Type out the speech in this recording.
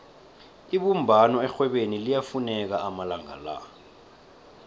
ibumbano erhwebeni liyafuneka amalanga la